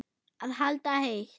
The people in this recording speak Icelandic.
Að halda heit